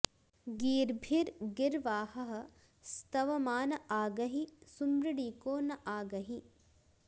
गी॒र्भिर्गि॑र्वाहः॒ स्तव॑मान॒ आ ग॑हि सुमृळी॒को न॒ आ ग॑हि